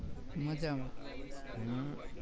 મજામાં હમ